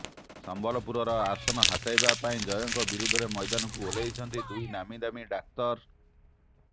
ସମ୍ବଲପୁର ଆସନ ହାତେଇବା ପାଇଁ ଜୟଙ୍କ ବିରୋଧରେ ମୈଦାନକୁ ଓହ୍ଲାଇଛନ୍ତି ଦୁଇ ନାମୀଦାମୀ ଡାକ୍ତର